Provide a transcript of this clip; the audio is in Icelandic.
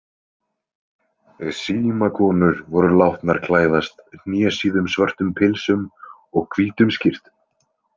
Símakonur voru látnar klæðast hnésíðum svörtum pilsum og hvítum skyrtum.